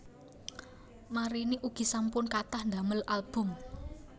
Marini ugi sampun kathah ndamel album